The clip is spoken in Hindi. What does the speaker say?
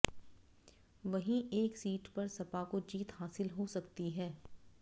वहीं एक सीट पर सपा को जीत हासिल हो सकती है